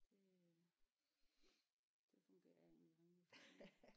Det øh det fungerer jeg egentlig rimelig fint med